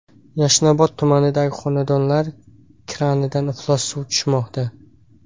Yashnobod tumanidagi xonadonlar kranidan iflos suv tushmoqda .